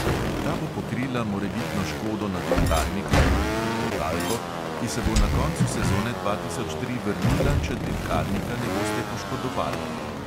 Ta bo pokrila morebitno škodo na dirkalniku (tudi totalko), ki se bo na koncu sezone dva tisoč tri vrnila, če dirkalnika ne boste poškodovali.